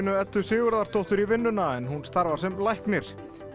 Eddu Sigurðardóttur í vinnuna en hún starfar sem læknir